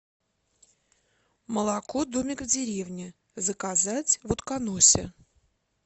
молоко домик в деревне заказать в утконосе